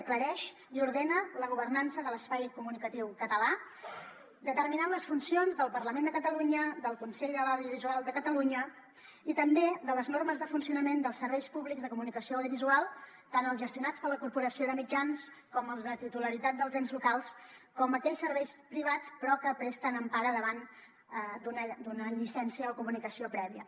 aclareix i ordena la governança de l’espai comunicatiu català determinant les funcions del parlament de catalunya del consell de l’audiovisual de catalunya i també de les normes de funcionament dels serveis públics de comunicació audiovisual tant els gestionats per la corporació de mitjans com els de titularitat dels ens locals com aquells serveis privats però que presten empara davant d’una llicència o comunicació prèvia